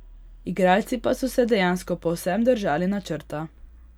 Igralci pa so se dejansko povsem držali načrta.